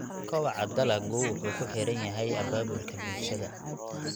Kobaca dalaggu wuxuu ku xiran yahay abaabulka bulshada.